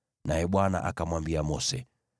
naye Bwana akamwambia Mose,